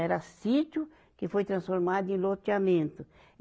Era sítio que foi transformado em loteamento.